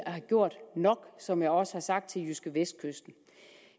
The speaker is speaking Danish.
gjort nok som jeg også har sagt til jydskevestkysten